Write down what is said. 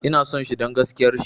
Ina son shi don gaskiar shi